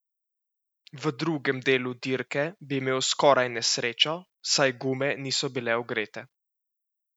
V drugem delu dirke bi imel skoraj nesrečo, saj gume niso bile ogrete.